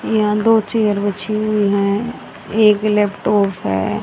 यहां दो चेयर बिछी हुई है एक लैपटॉप है।